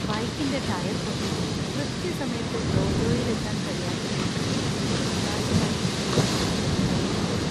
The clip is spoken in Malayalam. ബൈക്കിന്‍റെ ടയർ പൊട്ടി കൃത്യസമയത്ത് ഡോജോയിൽ എത്താൻ കഴിയാത്തതു കൊണ്ട് നിരാശനായി എന്‍റെ കോച്ച് എന്നെ വിളിച്ചു.